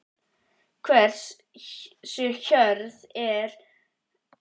Hversu hörð er samkeppnin?